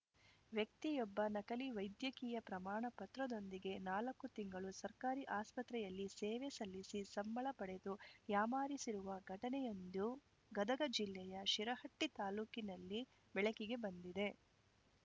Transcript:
ವ್ಯಕ್ತಿಯೊಬ್ಬ ನಕಲಿ ವೈದ್ಯಕೀಯ ಪ್ರಮಾಣ ಪತ್ರದೊಂದಿಗೆ ನಾಲ್ಕು ತಿಂಗಳು ಸರ್ಕಾರಿ ಆಸ್ಪತ್ರೆಯಲ್ಲಿ ಸೇವೆ ಸಲ್ಲಿಸಿ ಸಂಬಳ ಪಡೆದು ಯಾಮಾರಿಸಿರುವ ಘಟನೆಯೊಂದು ಗದಗ ಜಿಲ್ಲೆಯ ಶಿರಹಟ್ಟಿತಾಲೂಕಿನಲ್ಲಿ ಬೆಳಕಿಗೆ ಬಂದಿದೆ